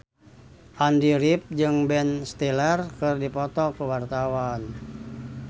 Andy rif jeung Ben Stiller keur dipoto ku wartawan